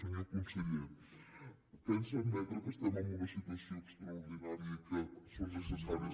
senyor conseller pensa admetre que estem en una situació extraordinària i que són necessaris